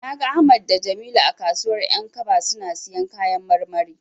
Na ga Ahmad da Jamilu a kasuwar 'yankaba suna siyan kayan marmari.